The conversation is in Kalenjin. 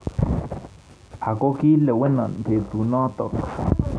Akokileweno petunotok